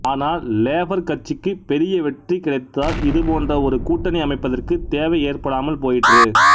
ஆனால் லேபா் கட்சிக்கு பெரிய வெற்றி கிடைத்ததால் இது போன்ற ஒரு கூட்டணி அமைப்பதற்கு தேவை ஏற்படாமல் போயிற்று